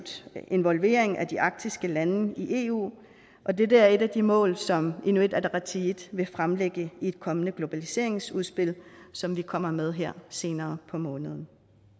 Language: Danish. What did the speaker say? involvering af de arktiske lande i eu og det er et af de mål som inuit ataqatigiit vil fremlægge i et kommende globaliseringsudspil som vi kommer med her senere på måneden